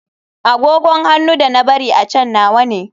Agogon hannu da na bari a can nawa ne.